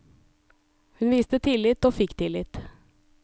Hun viste tillit, og fikk tillit.